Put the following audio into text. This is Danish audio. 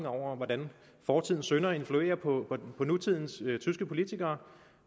over hvordan fortidens synder influerer på nutidens tyske politikere